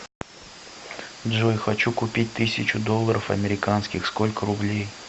джой хочу купить тысячу долларов американских сколько рублей